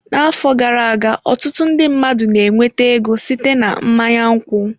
N'afọ gara aga, ọtụtụ ndị mmadụ na-enweta ego site na mmanya nkwụ.